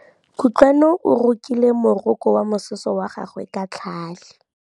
Kutlwanô o rokile morokô wa mosese wa gagwe ka tlhale.